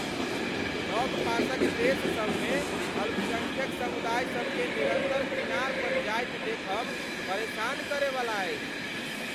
लग पासक देश सब मे अल्पसंख्यक समुदाय सभ केँ निरन्तर किनार पर जाइत देखब परेशान करयवला अछि।